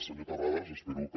senyor terrades espero que